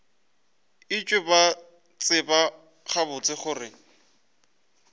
etšwe ba tseba gabotse gore